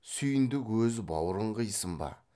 сүйіндік өз бауырын қисын ба